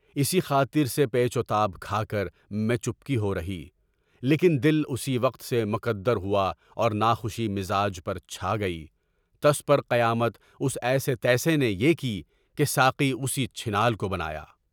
اسی خاطر سے پیچ و تاب کھا کر میں چپکی ہو رہی، لیکن دل اسی وقت سے مکدر ہوا اور ناخوشی مزاج پر چھا گئی، دس پر قیامت اس ایسے تیسے نے برپا کی کہ ساقی اسی چھنال کو بنایا۔